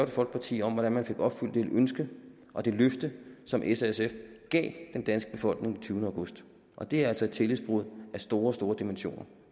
folkeparti om hvordan man fik opfyldt det ønske og det løfte som s og sf gav den danske befolkning den tyvende august og det er altså et tillidsbrud af store store dimensioner